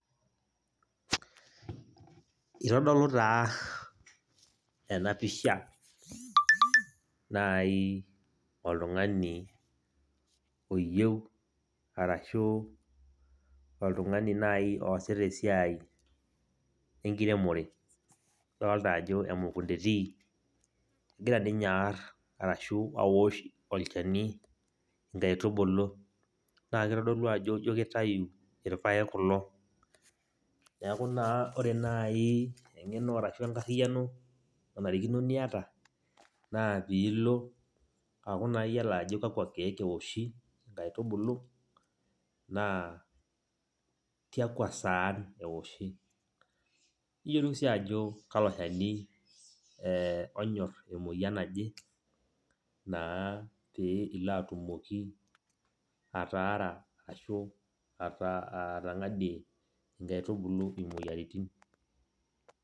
Itodolu taa enapisha nai oltung'ani oyieu, arashu oltung'ani nai oosita esiai enkiremore, idolita ajo emukunda etii. Egira ninye aarr arashu awosh olchani inkaitubulu. Na kitodolu ajo jo kitayu irpaek kulo. Neeku naa ore nai eng'eno arashu enkarriyiano, nanarikino niyata, naa pilo aku naa yiolo ajo kakwa keek iwoshi nkaitubulu, naa tiakwa saan ewoshi. Niyiolou si ajo kalo shani onyor emoyian naje, naa pee ilo atumoki ataara ashu atang'adie nkaitubulu imoyiaritin.